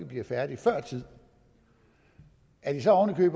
bliver færdige før tid at de så oven i